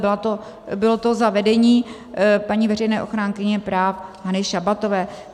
Bylo to za vedení paní veřejné ochránkyně práv Anny Šabatové.